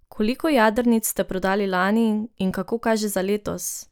Koliko jadrnic ste prodali lani in kako kaže za letos?